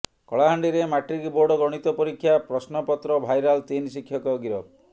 କଳାହାଣ୍ଡିରେ matric board ଗଣିତ ପରୀକ୍ଷା ପ୍ରଶ୍ନପତ୍ର ଭାଇରାଲ ତିନି ଶିକ୍ଷକ ଗିରଫ